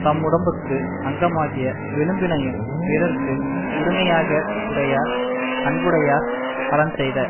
தம்முடம்புக்கு அங்கமாகிய வெலும்பினையும் பிறர்க்கு உரிமையாக வுடையர் அன்புடையார் அறஞ்செய்த